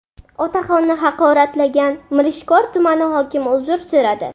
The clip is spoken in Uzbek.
Otaxonni haqoratlagan Mirishkor tumani hokimi uzr so‘radi.